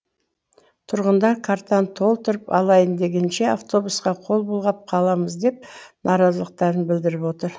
тұрғындар картаны толтырып алайын дегенше автобусқа қол бұлғап қаламыз деп наразылықтарын білдіріп отыр